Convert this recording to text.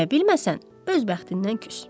Deyə bilməsən, öz bəxtindən küs.